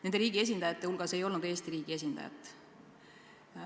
Nende oma riiki esindanud inimeste hulgas ei olnud Eesti riigi esindajat.